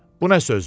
Bu nə sözdür?